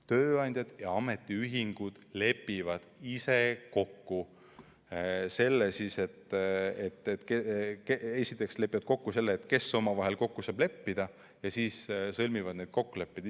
Tööandjad ja ametiühingud esiteks lepivad kokku, kes omavahel kokku saavad leppida, ja siis sõlmivad ise need kokkulepped.